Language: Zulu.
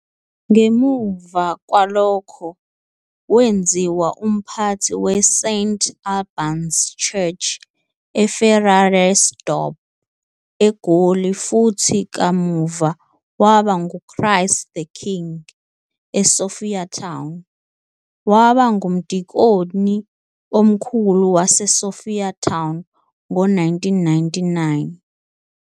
Ngemuva kwalokho wenziwa umphathi we-St Alban's Church, eFerrairasdorp, eGoli futhi kamuva waba nguChrist the King, eSophiatown. Waba ngumdikoni omkhulu waseSophiatown ngo-1999.